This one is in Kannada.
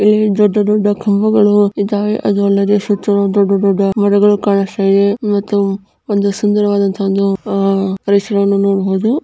ಇಲ್ಲಿ ದೊಡ್ಡ ದೊಡ್ಡ ಕಂಬಗಳು ಇದ್ದಾವೆ ಅದು ಅಲ್ಲದೆ ದೊಡ್ಡ ದೊಡ್ಡ ಮರಗಳು ಕಾಣಿಸ್ತಾ ಇದೆ ಮತ್ತು ಒಂದು ಸುಂದರವಾದಂತಹ ಒಂದು ಅಹ್ ಪರಿಸರವನ್ನು ನೋಡಬಹುದು.